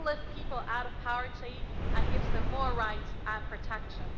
It will lift people out of poverty and give them more rights and protection.